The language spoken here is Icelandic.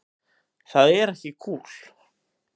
Það er ekki kúl.